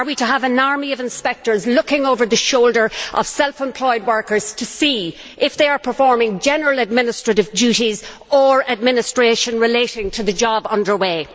Are we to have an army of inspectors looking over the shoulders of self employed workers to see if they are performing general administrative duties or administration relating to the job under way?